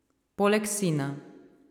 Poleg sina.